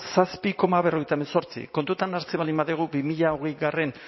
zazpi koma berrogeita hemezortzi kontutan hartzen baldin badugu bi mila hogeigarrena